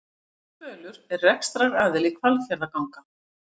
Spölur er rekstraraðili Hvalfjarðarganga